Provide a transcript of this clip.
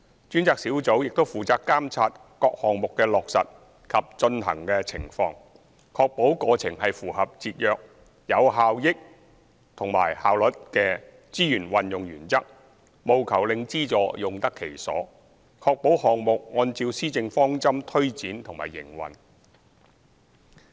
專責小組亦負責監察各項目的落實及進行情況，確保過程是符合節約、有效率及效益的資源運用原則，務求令資助用得其所，確保項目按照施政方針推展和營運。